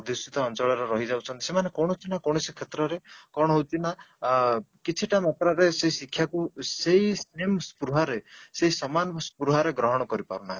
ବାଷିତ ଅଞ୍ଚଳ ରେ ରହିଯାଉଛନ୍ତି ସେମାନେ କୌଣସି ନା କୌଣସି କ୍ଷେତ୍ର ରେ କ'ଣ ହଉଛି ନା ଆଁ କିଛି ଟା matter ରେ ସେ ଶିକ୍ଷା କୁ ସେଇ same ସ୍ପୃହା ରେ ସେଇ ସମାନ ସ୍ପୃହା ରେ ଗ୍ରହଣ କରିପାରୁନାହାନ୍ତି